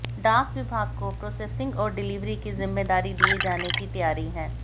डाक विभाग को प्रोसेसिंग और डिलिवरी की जिम्मेदारी दिए जाने की तैयारी है